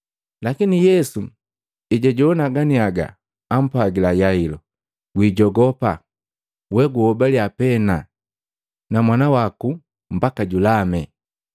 Lakini Yesu ejwajowana ganiaga apwagila Yailo, “Gwijogopa, we guhobaliya pena, na mwana waku mbaka julame.”